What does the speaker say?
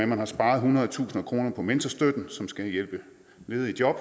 man har sparet hundredetusinder af kroner på mentorstøtten som skal hjælpe ledige i job